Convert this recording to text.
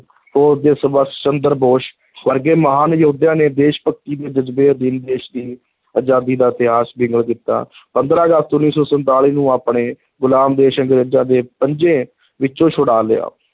ਫ਼ੌਜ ਦੇ ਸੰਭਾਸ਼ ਚੰਦਰ ਬੋਸ ਵਰਗੇ ਮਹਾਨ ਯੋਧਿਆਂ ਨੇ ਦੇਸ਼-ਭਗਤੀ ਦੇ ਜ਼ਜਬੇ ਅਧੀਨ ਦੇਸ਼ ਦੀ ਅਜ਼ਾਦੀ ਦਾ ਇਤਿਹਾਸ ਬਿਗਲ ਕੀਤਾ ਪੰਦਰਾਂ ਅਗਸਤ, ਉੱਨੀ ਸੌ ਸੰਤਾਲੀ ਨੂੰ ਆਪਣੇ ਗੁਲਾਮ ਦੇਸ਼ ਅੰਗਰੇਜ਼ਾਂ ਦੇ ਪੰਜੇ ਵਿੱਚੋਂ ਛੁਡਾ ਲਿਆ।